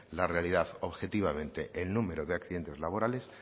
la realidad objetivamente el número de accidentes laborales